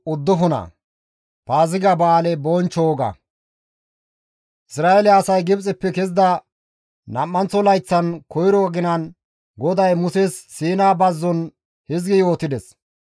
Isra7eele asay Gibxeppe kezida nam7anththo layththan koyro aginan GODAY Muses Siina bazzon hizgi yootides,